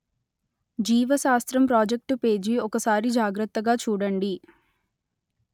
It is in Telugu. జీవ శాస్త్రం ప్రాజెక్టు పేజీ ఒకసారి జాగ్రత్తగా చూడండి